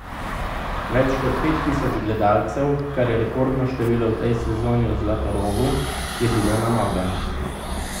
Več kot pet tisoč gledalcev, kar je rekordno število v tej sezoni v Zlatorogu, je bilo na nogah.